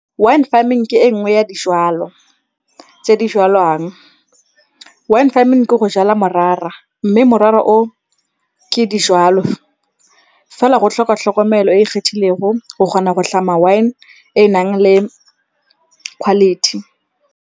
Wine farming ke e nngwe ya dijalo tse di jwalwang. Wine farming ke go jala morara mme morara o ke dijwalo, fela go tlhoka tlhokomelo e e kgethilego go kgona go tlhama wine e nang le quality.